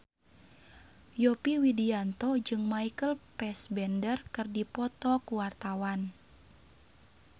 Yovie Widianto jeung Michael Fassbender keur dipoto ku wartawan